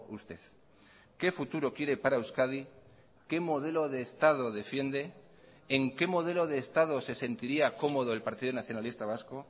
usted qué futuro quiere para euskadi qué modelo de estado defiende en qué modelo de estado se sentiría cómodo el partido nacionalista vasco